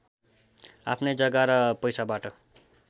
आफ्नै जग्गा र पैसाबाट